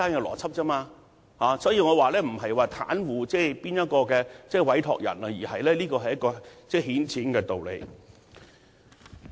因此，我並不是要袒護某位委託人，而是這是一個顯淺的道理。